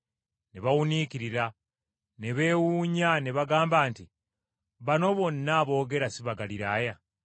Ne bawuniikirira ne beewuunya ne bagamba nti, “Bano bonna aboogera si Bagaliraaya?